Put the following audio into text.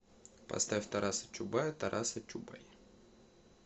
поставь тараса чубая тараса чубай